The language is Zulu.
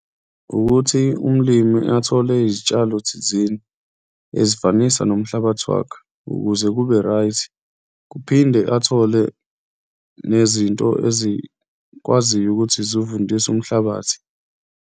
Ukuthi umlimi athole izitshalo thizeni ezifanisa nomhlabathi wakhe ukuze kube right, kuphinde athole nezinto ezikwaziyo ukuthi zowuvundise umhlabathi.